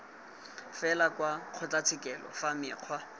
fela kwa kgotlatshekelo fa mekgwa